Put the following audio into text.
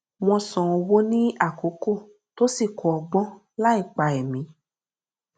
wọn san owó ní àkókò tó sì kó ọgbọn láìpa ẹmí